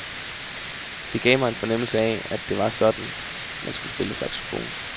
Det gav mig en fornemmelse af at det var sådan, man skulle spille saxofon.